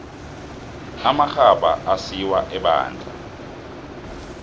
amarhabha asiwa ebandla